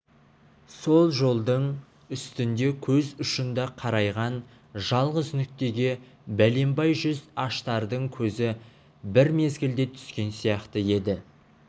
сол жолдың үстінде көз ұшында қарайған жалғыз нүктеге бәленбай жүз аштардың көзі бір мезгілде түскен сияқты еді